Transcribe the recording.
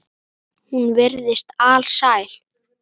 Hún virtist alsæl.